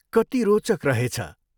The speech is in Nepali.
कति रोचक रहेछ।